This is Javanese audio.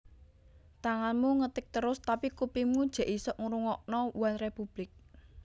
Tanganmu ngetik terus tapi kupingmu jek isok ngrungokno OneRepublic